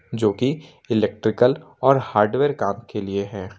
जो कि इलेक्ट्रिकल और हार्डवेयर काम के लिए है।